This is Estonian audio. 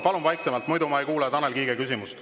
Palun vaiksemalt, muidu ma ei kuule Tanel Kiige küsimust.